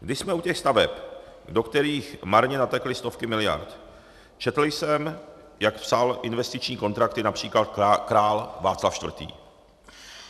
Když jsme u těch staveb, do kterých marně natekly stovky miliard, četl jsem, jak psal investiční kontrakty například král Václav IV.